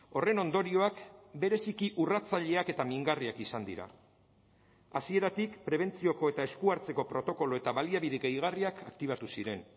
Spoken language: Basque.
horren ondorioak bereziki urratzaileak eta mingarriak izan dira hasieratik prebentzioko eta esku hartzeko protokolo eta baliabide gehigarriak aktibatu ziren